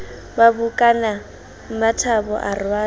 ba bokana mmathabo a rwala